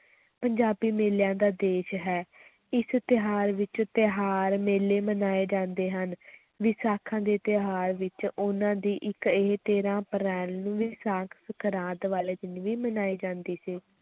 ਪੰਜਾਬੀ ਮੇਲਿਆਂ ਦਾ ਦੇਸ਼ ਹੈ ਇਸ ਤਿਉਹਾਰ ਵਿੱਚ ਤਿਉਹਾਰ ਮੇਲੇ ਮਨਾਏ ਜਾਂਦੇ ਹਨ ਵਿਸਾਖੀ ਦਾ ਤਿਉਹਾਰ ਵਿੱਚ ਉਨ੍ਹਾਂ ਦੀ ਇੱਕ ਇਹ ਤੇਰਾਂ ਅਪ੍ਰੈਲ ਨੂੰ ਵਿਸਾਖ ਸੰਗਰਾਂਦ ਵਾਲੇ ਦਿਨ ਵੀ ਮਨਾਈ ਜਾਂਦੀ ਸੀ।